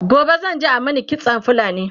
gobe zan je a Mani kitsan fulani